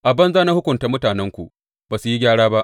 A banza na hukunta mutanenku; ba su yi gyara ba.